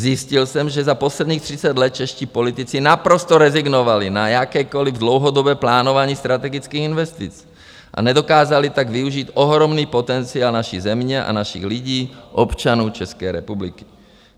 Zjistil jsem, že za posledních 30 let čeští politici naprosto rezignovali na jakékoliv dlouhodobé plánování strategických investic a nedokázali tak využít ohromný potenciál naší země a našich lidí, občanů České republiky.